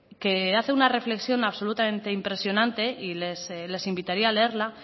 que hace una reflexión absolutamente impresionante y les invitaría a leerla